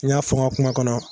N y'a fɔ n ka kuma kɔnɔ